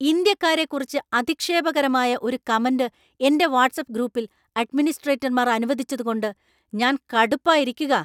ഇന്ത്യക്കാരെക്കുറിച്ച് അധിക്ഷേപകരമായ ഒരു കമന്‍റ് എന്‍റെ വാട്ട്‌സ്ആപ്പ് ഗ്രൂപ്പിൽ അഡ്മിനിസ്ട്രേറ്റർമാർ അനുവദിച്ചതുകൊണ്ട് ഞാൻ കടുപ്പായിരിക്കുകാ.